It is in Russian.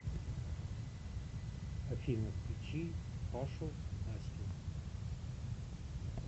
афина включи пашу настю